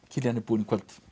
Kiljan er búin í kvöld